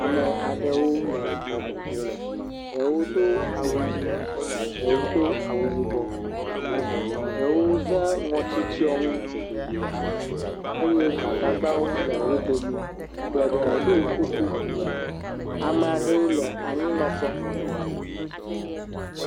Ame aɖewo le xɔ me. Ɖewo do awu ʋi, ɖewo do awu yibɔ, ɖewo ze ŋɔtitsɔnu eye gbadagbawo le wo domi. Geɖewo ɖo kuku. Ame aɖewo le anyinɔƒe.